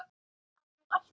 Af því hún ætlaði.